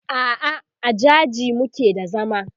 a'a a jaji muke da zama